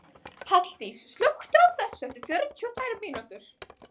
Halldís, slökktu á þessu eftir fjörutíu og tvær mínútur.